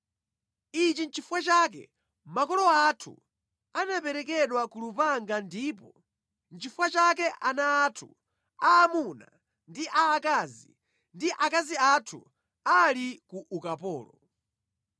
Ichi nʼchifukwa chake makolo athu anaperekedwa ku lupanga ndipo nʼchifukwa chake ana athu aamuna ndi aakazi ndi akazi athu ali ku ukapolo.